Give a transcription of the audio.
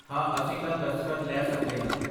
ਹਾਂ, ਅਸੀਂ ਕੱਲ੍ਹ ਦਸਤਖਤ ਲੈ ਸਕਦੇ ਹਾਂ।